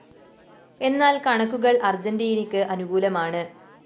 എന്നാല്‍ കണക്കുകള്‍ അര്‍ജന്റീനക്ക് അനുകൂലമാണ്